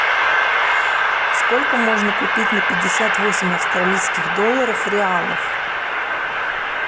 сколько можно купить на пятьдесят восемь австралийских долларов реалов